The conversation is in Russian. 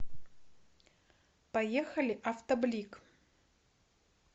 поехали автоблик